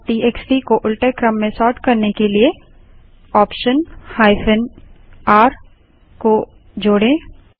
number TXT को उलटे क्रम में सोर्ट करने के लिए ऑप्शन r को जोड़ें